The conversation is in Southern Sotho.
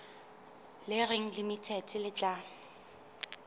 le reng limited le tla